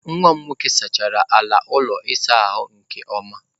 Nwa m nwoke sachara ala ụlọ ịsa ahụ nke ọma.